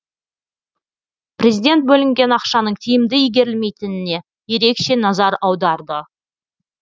президент бөлінген ақшаның тиімді игерілмейтініне ерекше назар аударды